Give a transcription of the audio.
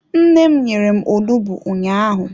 Nne m nyere m onugbu ụnyaahụ.